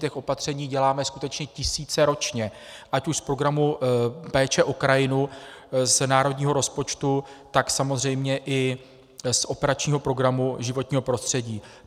Těch opatření děláme skutečně tisíce ročně, ať už z Programu péče o krajinu z národního rozpočtu, tak samozřejmě i z operačního programu Životní prostředí.